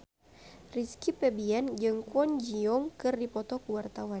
Rizky Febian jeung Kwon Ji Yong keur dipoto ku wartawan